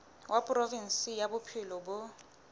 wa provinse ya bophelo bo